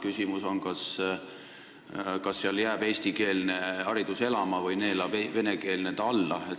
Küsimus on, kas eestikeelne haridus jääb seal elama või neelab venekeelne ta alla.